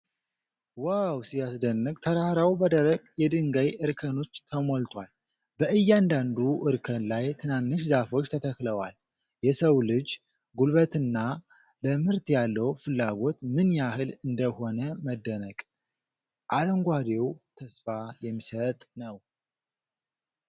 ዋው ሲያስደንቅ! ተራራው በደረቅ የድንጋይ እርከኖች ተሞልቷል። በእያንዳንዱ እርከን ላይ ትናንሽ ዛፎች ተተክለዋል። የሰው ልጅ ጉልበትና ለምርት ያለው ፍላጎት ምን ያህል እንደሆነ መደነቅ !!። አረንጓዴው ተስፋ የሚሰጥ ነው።